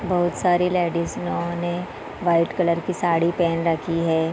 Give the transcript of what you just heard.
बहुत सारी लेडीज सियो ने वाइट कलर की साड़ी पहन रखी है।